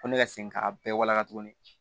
Ko ne ka segin k'a bɛɛ walaka tuguni